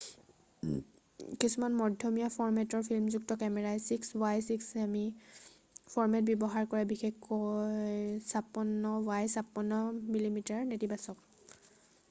কিছুমান মধ্যমীয়া ফৰ্মেটৰ ফিল্মযুক্ত কেমেৰাই 6 বাই 6 ছেমি ফৰ্মেট ব্যৱহাৰ কৰে বিশেষকৈ 56 বাই 56 মিমি নেতিবাচক